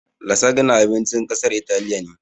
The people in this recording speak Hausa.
"Lasagna" abincin ƙasar italiya ne